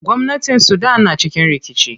Gwamnatin sudan na cikin rikici.